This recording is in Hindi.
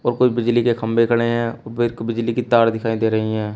कुछ बिजली के खंभे खड़े हैं ऊपर बिजली की तार दिखाई दे रही है।